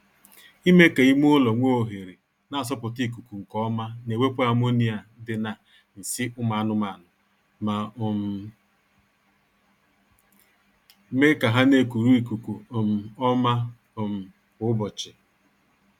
Ime ka ime ụlọ nwee ohere na-asọpụta ikuku nkeọma na-ewepụ ammonia dị na nsị ụmụ anụmaanụ ma um mee ka ha na-ekuru ikuku um ọma um kwa ụbọchị